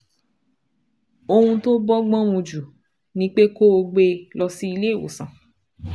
Ohun tó bọ́gbọ́n mu jù ni pé kó o gbé e lọ sí ilé ìwòsàn